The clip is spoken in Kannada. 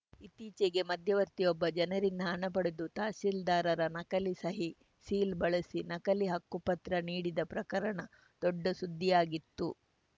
ಇತ್ತೀಚೆಗೆ ಮಧ್ಯವರ್ತಿಯೊಬ್ಬ ಜನರಿಂದ ಹಣಪಡೆದು ತಹಸೀಲ್ದಾರರ ನಕಲಿ ಸಹಿ ಸೀಲು ಬಳಸಿ ನಕಲಿ ಹಕ್ಕುಪತ್ರ ನೀಡಿದ ಪ್ರಕರಣ ದೊಡ್ಡ ಸುದ್ಧಿಯಾಗಿತ್ತು